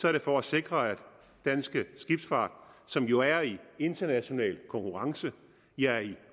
er det for at sikre at dansk skibsfart som jo er i international konkurrence ja i